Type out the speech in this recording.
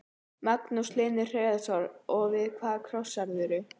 Magnús Hlynur Hreiðarsson: Og við hvað krossaðirðu?